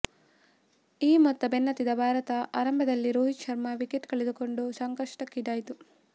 ಈ ಮೊತ್ತ ಬೆನ್ನತ್ತಿದ ಭಾರತ ಆರಂಭದಲ್ಲೇ ರೋಹಿತ್ ಶರ್ಮಾ ವಿಕೆಟ್ ಕಳೆದುಕೊಂಡು ಸಂಕಷ್ಟಕ್ಕೀಡಾಯಿತು